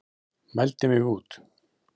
Mældi mig út.